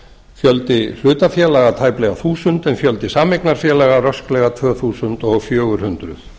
fjöldi hlutafélaga tæplega þúsund en fjöldi sameignarfélaga rösklega tvö þúsund fjögur hundruð